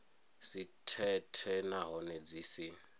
si thethe nahone dzi si